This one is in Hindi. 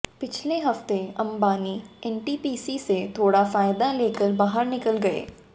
पिछले हफ्ते अंबानी एनटीपीसी से थोड़ा फायदा लेकर बाहर निकल गए